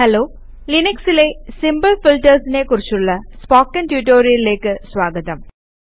hello ലിനക്സിലെ simple ഫീൽട്ടേര്സിനെ കുറിച്ചുള്ള സ്പോക്കൺ റ്റ്യൂട്ടോറിയലിലേക്ക് സ്വാഗതം